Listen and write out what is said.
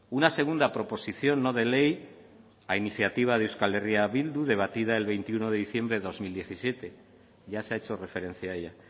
una segunda proposición no de ley a iniciativa de euskal herria bildu debatida el veintiuno de diciembre de dos mil diecisiete ya se ha hecho referencia a ella